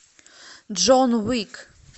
джон уик